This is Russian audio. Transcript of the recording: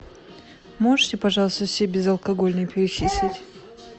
можете пожалуйста все безалкогольные перечислить